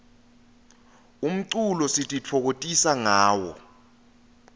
umculo sititfokotisa ngawo